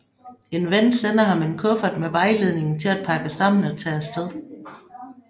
En ven sender ham en kuffert med vejledning til at pakke sammen og tage afsted